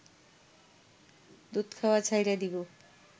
দুধ খাওয়া ছাইড়া দিব